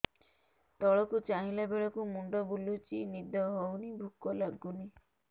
ତଳକୁ ଚାହିଁଲା ବେଳକୁ ମୁଣ୍ଡ ବୁଲୁଚି ନିଦ ହଉନି ଭୁକ ଲାଗୁନି